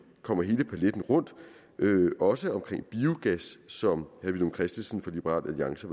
kommer hele paletten rundt også omkring biogas som herre villum christensen fra liberal alliance